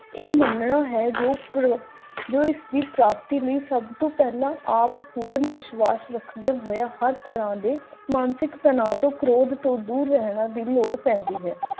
ਇਹ ਮੰਨਣਾ ਹਰ ਗੱਭਰੂ ਜੋ ਇਸ ਦੀ ਪ੍ਰਾਪਤੀ ਲਈ ਸਭ ਤੋਂ ਪਹਿਲਾਂ ਆਪ ਪੂਰਣ ਵਿਸ਼ਵਾਸ ਰੱਖਦੇ ਹੋਏ ਹਰ ਤਰ੍ਹਾਂ ਦੀ ਮਾਨਸਿਕ ਤਣਾਅ ਤੋਂ ਦੂਰ ਰਹਿਣ ਦੀ ਲੋੜ ਪੈਂਦੀ ਹੈ